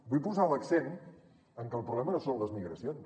vull posar l’accent en que el problema no són les migracions